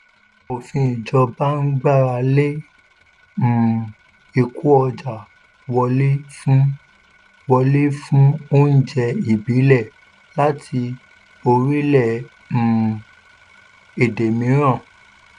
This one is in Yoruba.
òfin ìjọba ń gbàrà lé um ìkó ọjà wọlé fún wọlé fún oúnjẹ ìbílẹ̀ láti orílẹ̀ um èdè mìíràn.